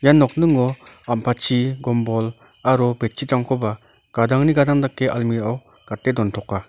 nokningo ampatchi gombol aro bedsheet-rangkoba gadangni gadang dake almirao gate dontoka.